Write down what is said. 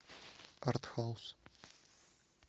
артхаус